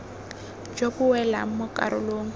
jo bo welang mo karolong